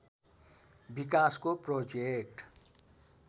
विकासको प्रोजेक्ट